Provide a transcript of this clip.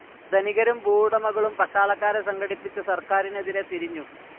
ധനികരും ഭൂവുടമകളും പട്ടാളക്കാരെ സംഘടിപ്പിച്ച സർക്കാരിനെതിരെ തിരിഞ്ഞു.